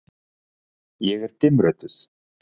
Ég er dimmrödduð.